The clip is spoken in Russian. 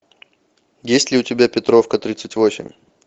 есть ли у тебя петровка тридцать восемь